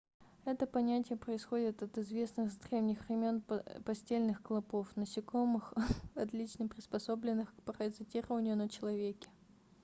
это понятие происходит от известных с древних времен постельных клопов насекомых отлично приспособленных к паразитированию на человеке